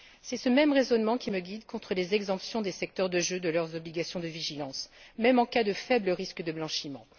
C'est ce même raisonnement qui me guide contre les exemptions du secteur des jeux de ses obligations de vigilance, même en cas de faible risque de blanchiment.